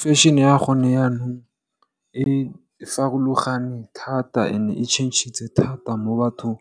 Fešene ya gone yanong e farologane thata and e tšhentšhitse thata mo bathong